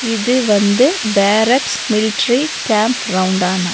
இது வந்து barracks military camp ரவுன்டானா.